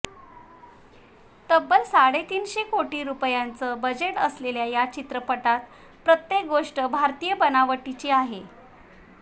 तब्बल साडे तीनशे कोटी रुपयांचं बजेट असलेल्या या चित्रपटात प्रत्येक गोष्ट भारतीय बनावटीची आहे